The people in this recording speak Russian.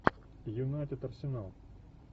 юнайтед арсенал